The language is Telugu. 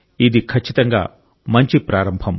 ఇది ఖచ్చితంగా మంచి ప్రారంభం